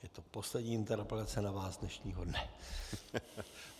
Je to poslední interpelace na vás dnešního dne.